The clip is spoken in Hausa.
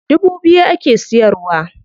Dubu biyu ake siyarwa.